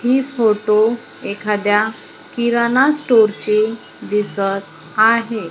ही photo एखाद्या किराणा store चे दिसत आहे.